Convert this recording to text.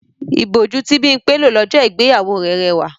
Ìbòjú tí Bímpé lò lọ́jọ́ ìgbéyàwó rẹ̀ rẹwà